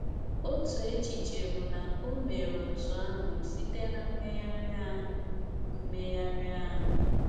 Otu echiche bụ na o mere otú ahụ site ná mmegharị ahụ. mmegharị ahụ.